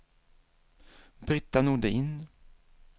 Britta Nordin